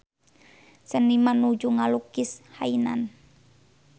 Seniman nuju ngalukis Hainan